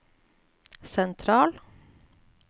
sentral